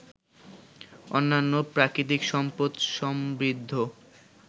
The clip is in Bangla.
অন্যান্য প্রাকৃতিক সম্পদ সমৃদ্ধ